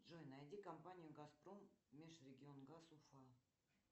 джой найди компанию газпром межрегион газ уфа